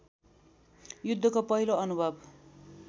युद्धको पहिलो अनुभव